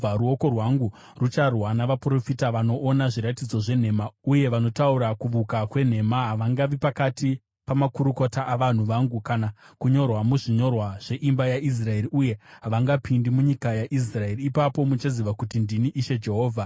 Ruoko rwangu rucharwa navaprofita vanoona zviratidzo zvenhema uye vanotaura kuvuka kwenhema. Havangavi pakati pamakurukota avanhu vangu kana kunyorwa muzvinyorwa zveimba yaIsraeri, uye havangapindi munyika yaIsraeri. Ipapo muchaziva kuti ndini Ishe Jehovha.